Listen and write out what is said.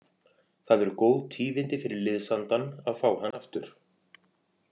Það eru góð tíðindi fyrir liðsandann að fá hann aftur.